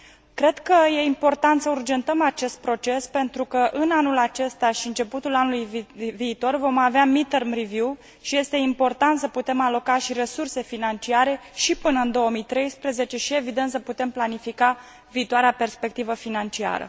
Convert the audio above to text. Cred că e important să urgentăm acest proces pentru că, în anul acesta și începutul anului viitor, vom avea mid term review și este important să putem aloca și resurse financiare până în 2013 și, evident, să putem planifica viitoarea perspectivă financiară.